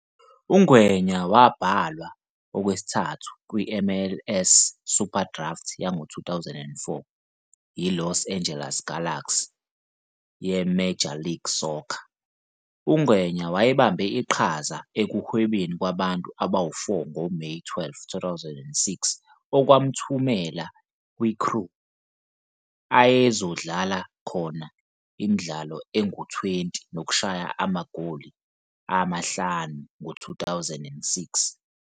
UNgwenya wabhalwa okwesithathu seMLS SuperDraft yango-2004 yiLos Angeles Galaxy yeMajor League Soccer. UNgwenya wayebambe iqhaza ekuhwebeni kwabantu abawu-4 ngoMeyi 12, 2006, okwamthumela kuCrew, okwakuzodlalela yena imidlalo engu-20 nokushaya amagoli amahlanu ngo-2006.